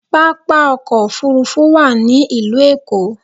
Pápá ọkọ̀ òfuurufú wà ní ìlú Èkó